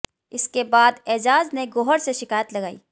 इसके बाद एजाज ने गौहर से शिकायत लगाई